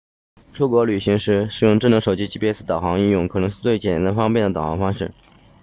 出国旅行时使用智能手机 gps 导航应用可能是最简单方便的导航方式